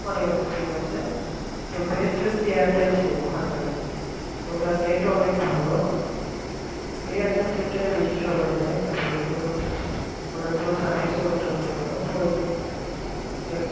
অনেক অনেক sim আছে best হচ্ছে এয়ারটেল sim ওখানকার ওটা net অনেক ভালো ওই এয়ারটেল sim টা বেশি সময় নেয় তারপরে হচ্ছে ভোডাফোনের service ও মোটামুটি ভালো তো এ